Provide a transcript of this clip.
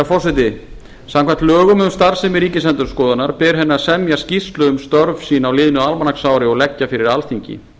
forseti samkvæmt lögum um starfsemi ríkisendurskoðunar ber henni að semja skýrslu um störf sín á liðnu almanaksári og leggja fyrir alþingi